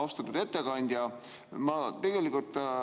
Austatud ettekandja!